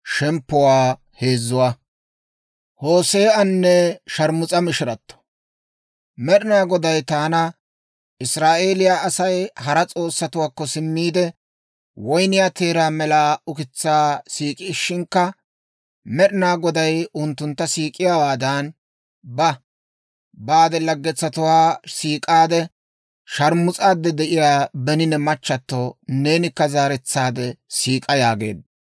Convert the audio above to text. Med'inaa Goday taana, «Israa'eeliyaa Asay hara s'oossatuwaakko simmiide, woyniyaa teeraa mela ukitsaa siik'ishinkka Med'inaa Goday unttuntta siik'iyaawaadan, ba; baade laggetsatuwaa siik'aade, sharmus'aade de'iyaa beni ne machchato neenikka zaaretsaade siik'a» yaageedda.